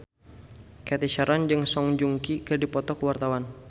Cathy Sharon jeung Song Joong Ki keur dipoto ku wartawan